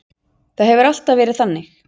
Það hefur alltaf verið þannig.